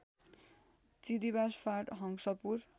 चिदीबास फाँट हंसपुर